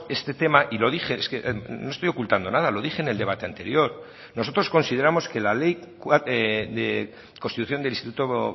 este tema y lo dije es que no estoy ocultando nada lo dije en el debate anterior nosotros consideramos que la ley de constitución del instituto